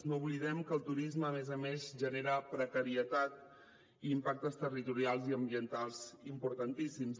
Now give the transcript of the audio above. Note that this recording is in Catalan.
no oblidem que el turisme a més a més genera precarietat i impactes territorials i ambientals importantíssims